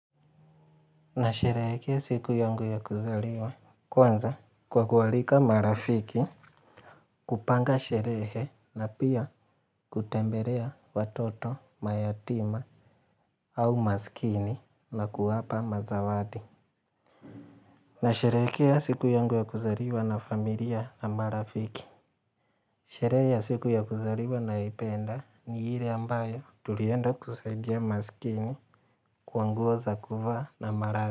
Nasherekea siku yangu ya kuzaliwa kwanza kwa kualika marafiki kupanga sherehe na pia kutembelea watoto, mayatima au maskini na kuwapa mazawadi. Nasherehekea siku yangu ya kuzaliwa na familia na marafiki. Sherehe ya siku ya kuzaliwa ninayoipenda ni ile ambayo tulienda kusaidia maskini kwa nguo za kuvaa na malazi.